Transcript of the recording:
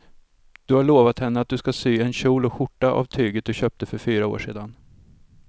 Du har lovat henne att du ska sy en kjol och skjorta av tyget du köpte för fyra år sedan.